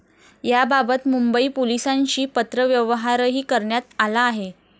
याबाबत मुंबई पोलिसांशी पत्रव्यवहारही करण्यात आला आहे.